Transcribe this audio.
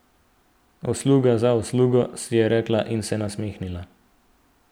Usluga za uslugo, si je rekla in se nasmehnila.